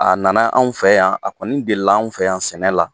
A nana anw fɛ yan ,a kɔni deli la anw fɛ yan sɛnɛ la.